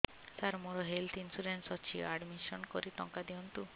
ସାର ମୋର health insurance ଅଛି admission କରି ଟଙ୍କା ଦିଅନ୍ତୁ